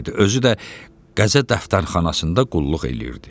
Özü də qəzə dəftərxanasında qulluq eləyirdi.